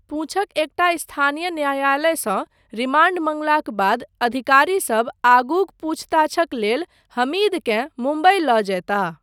पुंछक एकटा स्थानीय न्यायलयसँ रिमांड मँगलाक बाद अधिकारीसब आगूक पूछताछक लेल हमीदकेँ मुम्बई लऽ जयताह।